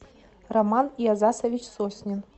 роман иозасович соснин